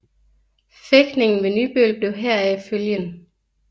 Fægtningen ved Nybøl blev heraf følgen